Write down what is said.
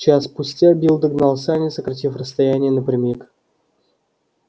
час спустя билл догнал сани сократив расстояние напрямик